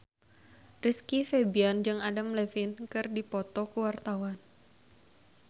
Rizky Febian jeung Adam Levine keur dipoto ku wartawan